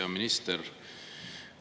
Hea minister!